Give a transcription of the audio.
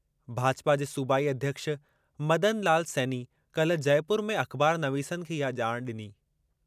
भाजपा जे सूबाई अध्यक्षु मदन लाल सैनी काल्हि जयपुर में अख़बारनवीसनि खे इहा ॼाण डि॒नी।